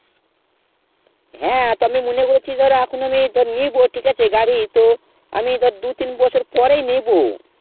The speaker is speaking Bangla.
হেঁ তো আমি মনে করছি ধর এখন ধর আমি নিবো ঠিক আছে গাড়ি তো আমি ধর দু তিন বছর পরে ই নিবো